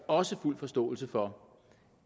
også fuld forståelse for